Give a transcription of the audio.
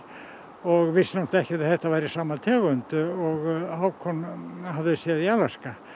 og vissi náttúrulega ekki að þetta væri sama tegund og Hákon hafði séð í Alaska